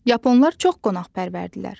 Yaponlar çox qonaqpərvərdirlər.